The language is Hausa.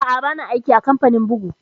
Aa, ba na aiki a kamfanin bugu